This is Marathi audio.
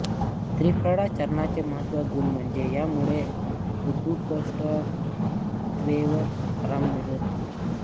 त्रिफळा चूर्णाचे महत्त्वाचा गुण म्हणजे यामुळे बद्धकोष्ठतेवर आराम मिळतो